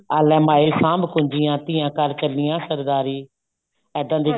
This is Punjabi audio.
ਆਹ ਲੈ ਮਾਏ ਸਾਂਭ ਕੁੰਜੀਆਂ ਧੀਆਂ ਘਰ ਚੱਲੀਆਂ ਸਰਦਾਰੀ ਇੱਦਾਂ ਦੇ